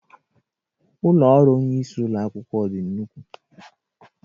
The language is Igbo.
Ụlọ ọrụ onye isi ụlọ ako dị nnukwu